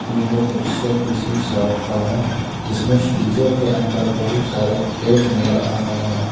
यह दृश्य किसी शॉप का है। जिसमें फ्रीजर के अंदर बहुत सारे केक नजर आ रहे हैं।